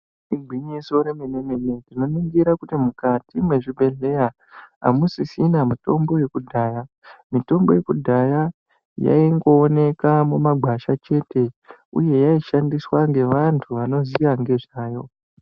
Igwinyiso remene-mene tinoaningira mukati mezvibhedhlera hanusisina mitombo yekudhaya mitombo yekudhaya yaingooneka mumagwasha chete uye yaishandiswa ngevantu vanoziva nezvayo.